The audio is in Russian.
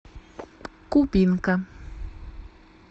кубинка